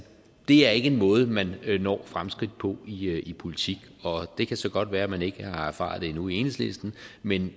det er ikke en måde man når fremskridt på i politik det kan så godt være at man ikke har erfaret det endnu i enhedslisten men